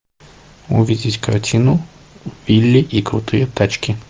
увидеть картину билли и крутые тачки